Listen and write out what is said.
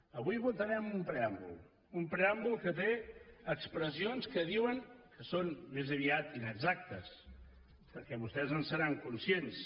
avui votarem un preàmbul un preàmbul que té expressions que diuen que són més aviat inexactes perquè vostès no en seran conscients